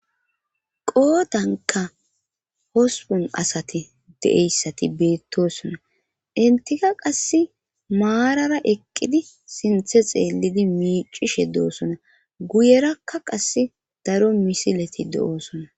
qoodanka hospon asati de7eyssati beettosona intika qass maarara eqqidi sinthe xeelidi miicishe doosona guyerakka qass daro misileti do7oosona